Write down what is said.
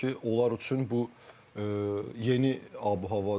Onlar üçün bu yeni ab-havadır.